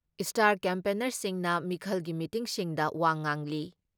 Star ꯀꯦꯝꯄꯦꯟꯅꯔꯁꯤꯡꯅ ꯃꯤꯈꯜꯒꯤ ꯃꯤꯇꯤꯡꯁꯤꯡꯗ ꯋꯥ ꯉꯥꯡꯂꯤ ꯫